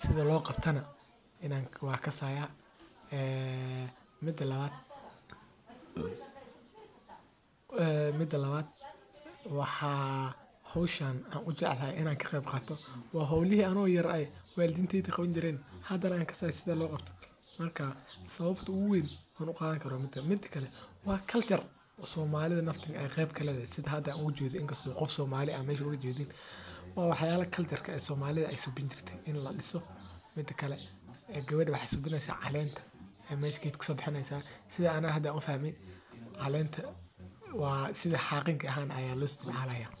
sida loo qabto waan kasaaya waa howlihi walidinteyda aay sameen jireen waa lis aroosa cunta lee lacunaa suuqa ayaa lageyni lacag ayaa looga qaadi meesha aay sexdaan waa meel aad uqurux badan.